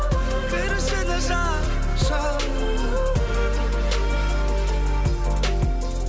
кір ішіне жап жап